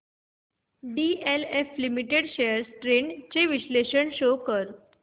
DLF limited shares trends चे विश्लेषण show कर